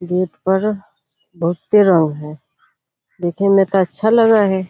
Gate पर बहुते रंग हई देखे मैं तो अच्छा लग हई।